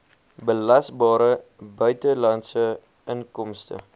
belasbare buitelandse inkomste